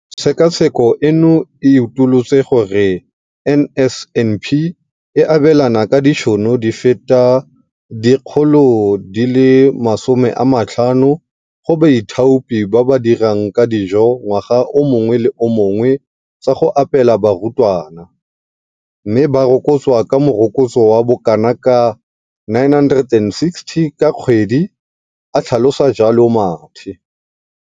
Tshekatsheko eno e utolotse gore NSNP e abelana ka ditšhono di feta 50 00 go baithaopi ba ba dirang ka dijo ngwaga o mongwe le o mongwe tsa go apeela barutwana, mme ba rokotswa ka morokotso wa bokanaka ka R960 ka kgwedi, a tlhalosa jalo Mathe.